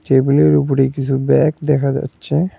টেবিলের উপরে কিছু ব্যাগ দেখা যাচ্ছে।